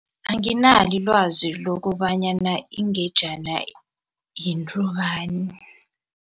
Anginalo ilwazi lokobanyana ingejana yinto bani.